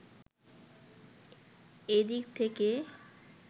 এ দিক থেকে